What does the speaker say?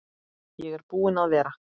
Ég er búinn að vera